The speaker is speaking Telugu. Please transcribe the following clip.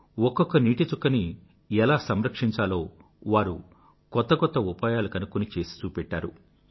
ఒక్కొక్క నీటి చుక్కనీ ఎలా సంరక్షించాలో వారు కొత్త కొత్త ఉపాయాలు కనుక్కుని చేసి చూపెట్టారు